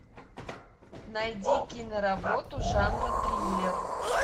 найди киноработу жанра триллер